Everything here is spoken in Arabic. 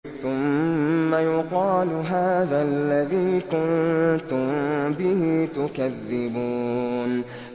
ثُمَّ يُقَالُ هَٰذَا الَّذِي كُنتُم بِهِ تُكَذِّبُونَ